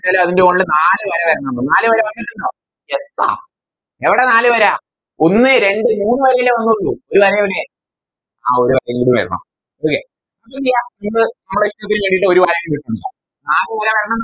അതിൻറെ മോളില് നാല് വര വരണംന്ന് നാല് വര വന്നിട്ടുണ്ടോ Yes ആഹ് എവിടെ നാല് വര ഒന്ന് രണ്ട് മൂന്ന് വരയല്ലേ വന്നിട്ടുള്ളൂ ഒരു വര എവിടെ ആഹ് ഒരു വരേം കൂടി വരണം Okay അപ്പെന്തെയ്യ ഇത് മ്മളെ നാല് വര വരണം